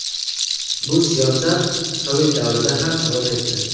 Bu siyosat sovet davrida ham davom etdi.